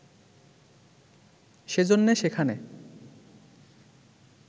সেজন্যে সেখানে